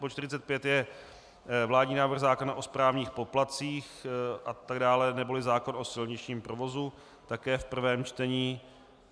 Bod 45 je vládní návrh zákona o správních poplatcích atd., neboli zákon o silničním provozu, také v prvém čtení.